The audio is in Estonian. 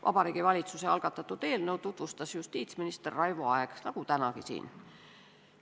Vabariigi Valitsuse algatatud eelnõu tutvustas justiitsminister Raivo Aeg nagu tänagi siin.